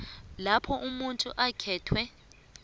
lapha umuntu okhethwe